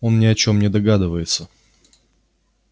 он ни о чём не догадывается